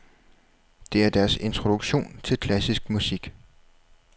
Det er deres introduktion til klassisk musik.